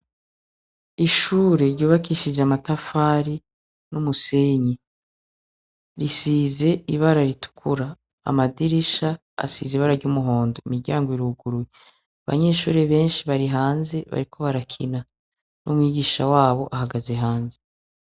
Ishure ryubakishije amatafari n'umusenyi, risize ibara ritukura, amadrisha asize ibara ry'umuhondo, imiryango iruguruye. Abanyeshure benshi bari hanze bariko barakina n'umwigisha wabo ahagaze hanze.